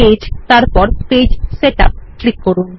page তারপর page setup click করুন